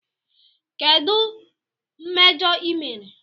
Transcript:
Kedu mmejọ ị mere?